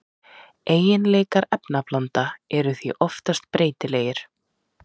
Eiginleikar efnablanda eru því oftast breytilegir.